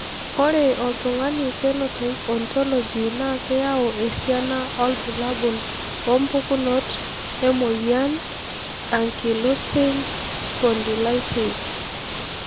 Ore oltungani Phenotype Ontology na keyau esiana olbulabul ompukunot emoyin eAnkylosing spondylitis.